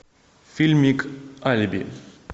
фильмик алиби